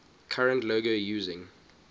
current logo using